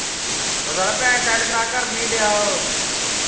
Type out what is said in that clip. ਉਹ ਸਾਲਿਆ ਪੈਸੇ send ਕਰਵਾ ਉਹ ਕਰਨ ਨਹੀਂ ਡਆ